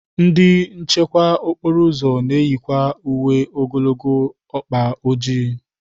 Ndị nchekwa okporo ụzọ na-eyikwa uwe ogologo ọkpa ojii.